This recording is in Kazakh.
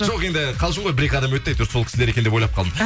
жоқ енді қалжың ғой бір екі адам өтті әйтеуір сол кісілер екен деп ойланып қалдым